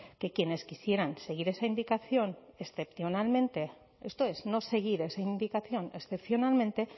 que quienes quisieran seguir esa indicación excepcionalmente esto es no seguir esa indicación excepcionalmente